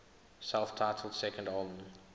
self titled second album